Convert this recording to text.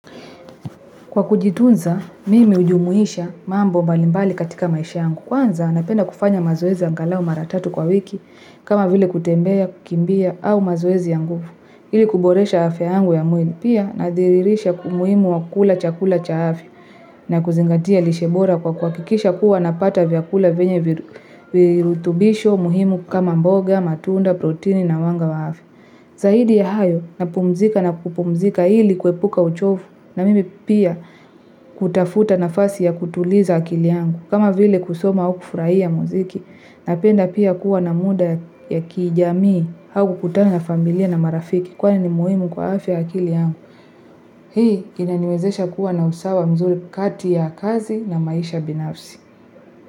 Kwa kujitunza mimi hujumuisha mambo mbalimbali katika maisha yangu. Kwanza napenda kufanya mazoezi angalau mara tatu kwa wiki kama vile kutembea kukimbia au mazoezi ya nguvu. Ili kuboresha afya yangu ya mwili. Pia nadhiririsha umuhimu wa kula chakula cha afya. Na kuzingatia lishe bora kwa kuhakikisha kuwa napata vyakula venye virutubisho muhimu kama mboga matunda proteini na wanga wa hafi. Zahidi ya hayo napumzika na kupumzika ili kwepuka uchofu. Na mimi pia kutafuta nafasi ya kutuliza akili yangu. Kama vile kusoma au kufurahia muziki napenda pia kuwa na muda ya kijamii haku kutana na familia na marafiki kwa ni muhimu kwa afya akili yangu. Hii inaniwezesha kuwa na usawa mzuri kati ya kazi na maisha binafsi.